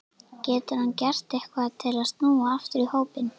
Getur hann gert eitthvað til að snúa aftur í hópinn?